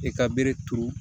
I ka bere turu